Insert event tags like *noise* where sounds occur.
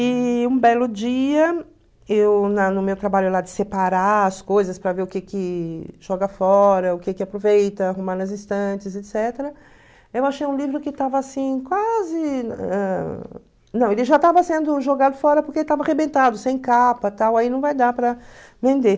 E um belo dia, eu na no meu trabalho de separar as coisas para ver o que que joga fora, o que que aproveita, arrumar nas estantes, *unintelligible* eu achei um livro que estava assim quase... Ãh... Não, ele já estava sendo jogado fora porque estava arrebentado, sem capa, tal, aí não vai dar para vender.